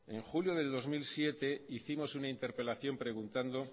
en julio del dos mil siete hicimos una interpelación preguntando